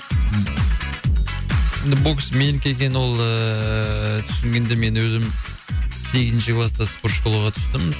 енді бокс менікі екенін ол ыыы түсінгенде мен өзім сегізінші класта спорт школаға түстім